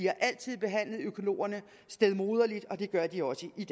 har altid behandlet økologerne stedmoderligt og det gør den også i